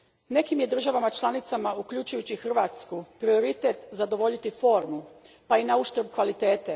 Nekim je državama članicama, uključujući Hrvatsku, prioritet zadovoljiti formu pa i nauštrb kvalitete.